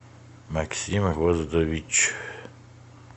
максим роздович